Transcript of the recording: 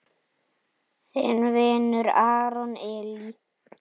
Þinn vinur, Aron Elí.